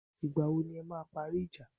Ìgbà wo ni e máa parí ìjà?